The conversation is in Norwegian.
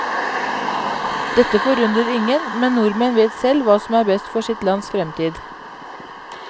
Dette forundrer ingen, men nordmenn vet selv hva som er best for sitt lands fremtid.